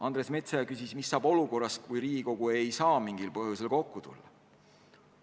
Andres Metsoja küsis, mis saab olukorras, kui Riigikogu ei saa mingil põhjusel kokku tulla.